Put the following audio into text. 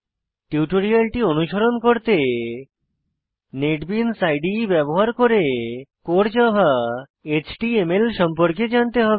টিউটোরিয়ালটি অনুসরণ করতে নেটবিনস ইদে ব্যবহার করে কোর জাভা এচটিএমএল সম্পর্কে জানতে হবে